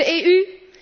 En wat doet de EU?